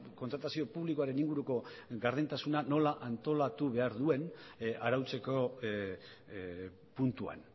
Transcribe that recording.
kontratazio publikoaren inguruko gardentasuna nola antolatu behar duen arautzeko puntuan